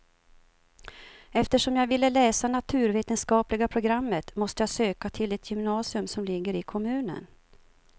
Eftersom jag ville läsa naturvetenskapliga programmet måste jag söka till det gymnasium som ligger i kommunen.